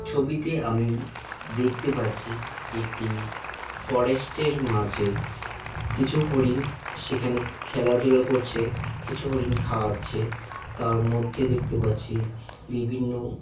ছবিতে আমি দেখতে পাচ্ছি একটি ফরেস্ট -এর মাঝে কিছু হরিণ সেখানে খেলাধুলা করছে কিছু হরিণ খাওয়াচ্ছে তার মধ্যে দেখতে পাচ্ছি বিভিন্ন--